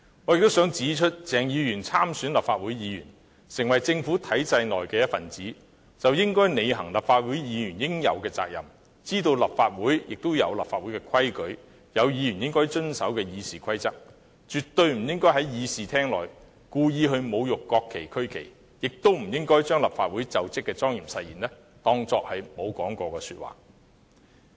我亦想指出，鄭議員參選立法會議員，成為政府體制內的一分子，便應履行立法會議員應有的責任，知道立法會有立法會的規矩，亦有議員應遵守的《議事規則》，絕不應在議事廳內故意侮辱國旗和區旗，亦不應把立法會就職的莊嚴誓言當作沒有說過。